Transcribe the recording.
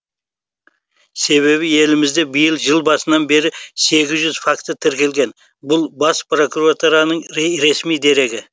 себебі елімізде биыл жыл басынан бері сегіз жүз факті тіркелген бұл бас прокуратураның ресми дерегі